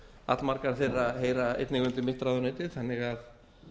allmargar þeirra heyra einnig undir mitt ráðuneyti þannig að